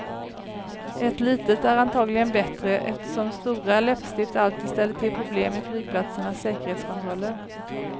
Ett litet är antagligen bättre eftersom stora läppstift alltid ställer till problem i flygplatsernas säkerhetskontroller.